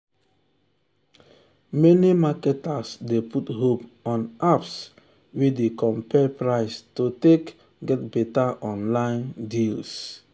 many marketers dey put hope on apps um wey dey compare price to take um get better online um deals